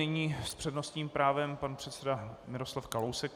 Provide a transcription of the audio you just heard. Nyní s přednostním právem pan předseda Miroslav Kalousek.